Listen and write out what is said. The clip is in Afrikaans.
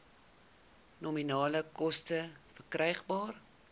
nominale koste verkrygbaar